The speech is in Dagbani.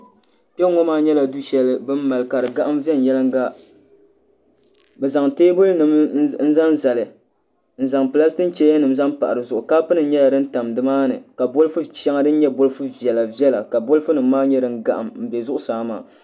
kpe n-ŋɔ maa nyɛla du' shɛli bɛ ni maali ka di gahim viɛnyɛlinga bɛ zaŋ teebulinima n zaŋ zali n zaŋ pilaasiki chayanima n zaŋ pahi di zuɣu kapunima nyɛla din tam ni maa ni ka bolifu shɛŋa din nyɛ bolifu viɛla viɛla ka bolifunima maa nyɛ din gahim m-be zuɣusaa maa